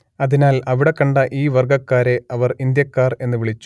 അതിനാൽ അവിടെ കണ്ട ഈ വർഗ്ഗക്കാരെ അവർ ഇന്ത്യക്കാർ എന്ന് വിളിച്ചു